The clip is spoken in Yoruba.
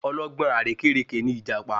Ọlọ́gbọ́n àrékérekè ní ìjàpá